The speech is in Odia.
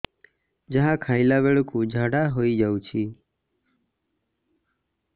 ଯାହା ଖାଇଲା ବେଳକୁ ଝାଡ଼ା ହୋଇ ଯାଉଛି